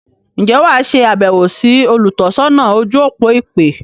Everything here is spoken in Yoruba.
Ǹjẹ́ wà á se àbẹ̀wọ̀ sí “ olùtọ́sọ́nà ojú-òpó ìpè”?